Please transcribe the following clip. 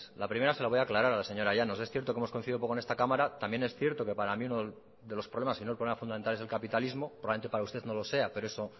la primera se la voy a aclarar a la señora llanos es cierto que hemos coincidido poco en esta cámara también es cierto que para mí uno de los problemas si no el problema fundamental es el capitalismo probablemente para usted no lo sea pero eso